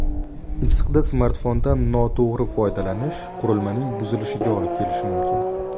Issiqda smartfondan noto‘g‘ri foydalanish qurilmaning buzilishiga olib kelishi mumkin.